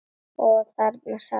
Og þarna sat hann.